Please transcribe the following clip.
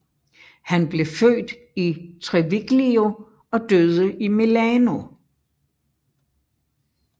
Han blev født i Treviglio og døde i Milano